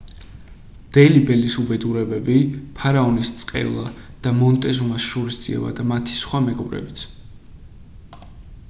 დელი ბელის უბედურებები ფარაონის წყევლა და მონტეზუმას შურისძიება და მათი სხვა მეგობრებიც